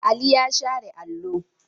Ali ya share allo.